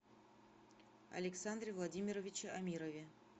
александре владимировиче амирове